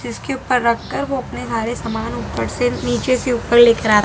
इस के ऊपर रख कर वो अपने हरे समान ऊपर से नीचे से ऊपर लेकर आरा।